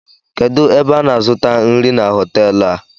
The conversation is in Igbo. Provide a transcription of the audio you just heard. Kedụ ebe ana azụta nri na hotelu a?